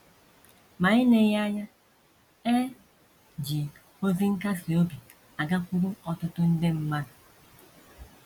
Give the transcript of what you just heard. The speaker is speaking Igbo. Ma eleghị anya, e ji ozi nkasi obi a gakwuru ọtụtụ nde mmadụ.